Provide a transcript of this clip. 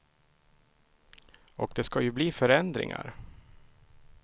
Och det ska ju bli förändringar.